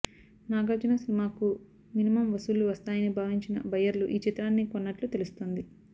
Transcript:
నాగార్జున సినిమాకు మినిమమ్ వసూళ్లు వస్తాయని భావించిన బయ్యర్లు ఈ చిత్రాన్ని కొన్నట్లు తెలుస్తోంది